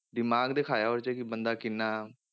ਦਿਮਾਗ ਦਿਖਾਇਆ ਉਹ 'ਚ ਕਿ ਬੰਦਾ ਕਿੰਨਾ,